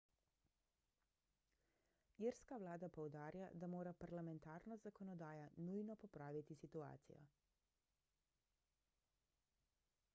irska vlada poudarja da mora parlamentarna zakonodaja nujno popraviti situacijo